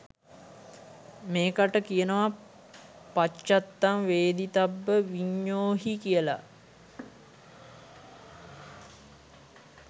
මේකට කියනවා පච්චත්තං වේදිතබ්බ විඤ්ඤූහි කියල.